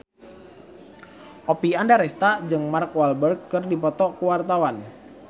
Oppie Andaresta jeung Mark Walberg keur dipoto ku wartawan